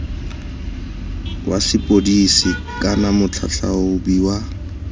wa sepodisi kana motlhatlhaobi wa